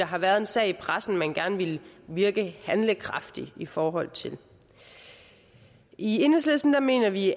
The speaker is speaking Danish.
har været en sag i pressen som man gerne vil virke handlekraftig i forhold til enhedslisten mener at vi